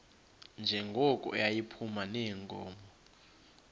njengoko yayiphuma neenkomo